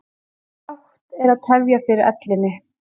Bágt er að tefja fyrir ellinni.